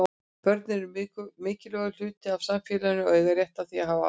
Börn eru mikilvægur hluti af samfélaginu og eiga rétt á því að hafa áhrif.